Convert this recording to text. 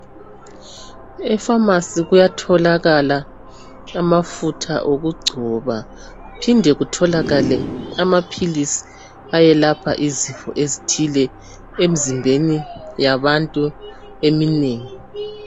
Emafasi kuyatholakala amafutha okugcoba, kuphinde kutholakale amapilisi eyelapha izifo ezithile emzimbeni yabantu eminengi.